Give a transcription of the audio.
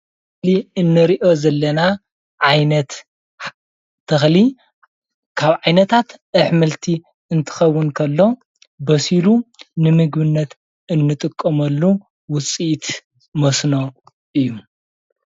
እዙዬ እንሪኦ ዘለና ዓይነት ተኽሊ ኻብ ዓይነታት ኣሕምልቲ እንትኾውን ኸሎ በሲሉ ነምግብነት እንጥቀመሉ ውፂኢት መስኖ እዩ።